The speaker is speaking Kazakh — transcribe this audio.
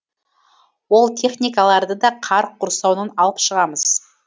ол техникаларды да қар құрсауынан алып шығамыз